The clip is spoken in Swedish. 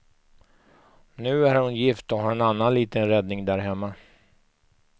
Nu är hon gift och har en annan liten räddning där hemma.